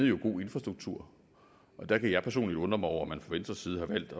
jo god infrastruktur og der kan jeg personligt undre mig over at man fra venstres side har valgt